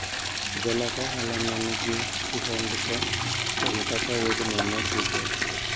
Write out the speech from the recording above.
Jolok ohala ne nigi kihondko kuom kaka wuodhno ne dhi bedo.